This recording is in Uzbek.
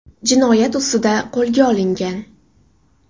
jinoyat ustida qo‘lga olingan.